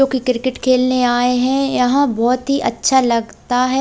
जो की क्रिकेट खेलने आए हैं यहां बहुत ही अच्छा लगता है।